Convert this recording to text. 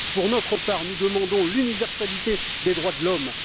Pour notre part, nous demandons l'universalité des droits de l'homme.